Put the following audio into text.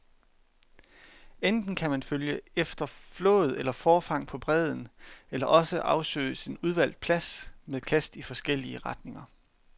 Enten kan man følge efter flåd eller forfang på bredden, eller også afsøges en udvalgt plads med kast i forskellige retninger.